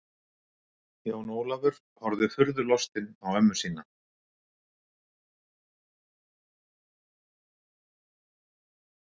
Jón Ólafur horfði furðulostinn á ömmu sína.